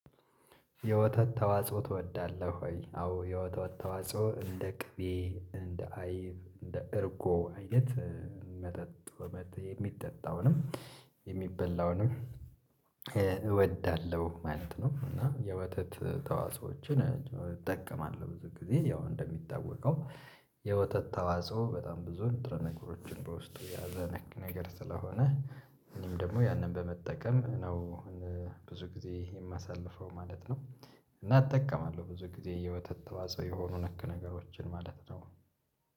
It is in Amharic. የወተት ተዋጽኦ ትወዳለህ ወይ? አዎ የወተት ተዋጽኦ እንደ ቅቤ፣ እንደ አይብ፣ እንደ እርጎ አይነት መጠጥ ወመድ የሚጠጣውንም የሚበላውንም እወዳለሁ ማለት ነው እና የወተት ተዋዕፆዎችን እጠቀማለሁ ብዙ ጊዜ ያው እንደሚታወቀው የወተት ተዋጽኦ በጣም ብዙ ንጥረ ነገሮችን በውስጡ የያዘ ነክ ነገር ስለሆነ እኔም ደግሞ ያንን በመጠቀም ነው ብዙ ጊዜ የማሳልፈው ማለት ነው። እና እጠቀማለሁ ብዙ ጊዜ የወተት ተዋጽኦ የሆኑ ነክ ነገሮችን ማለት ነው